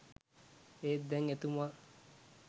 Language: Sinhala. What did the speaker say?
ඒත් දැන් එතුමා